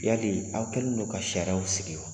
Yali aw kɛlen don ka sariyaw sigi wa ?